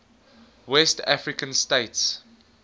west african states